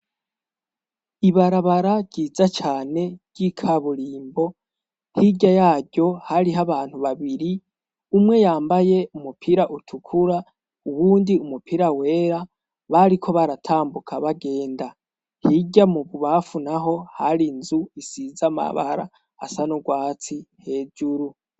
Ibarabara ryiza cyane ry'ikaburimbo hirya yaryo hariho abantu babiri umwe yambaye umupira utukura uwundi umupira wera bariko baratambuka bagenda hirya mu kubamfu naho hari inzu isiza mabara asa n'ubwatsi hejuru.